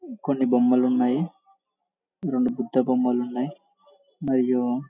కొన్ని బొమ్మలు ఉన్నాయి రెండు బుద్ధ బొమ్మలు ఉన్నాయి మరియు